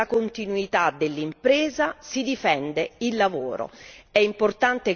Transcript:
si difende la continuità dell'impresa e si difende il lavoro.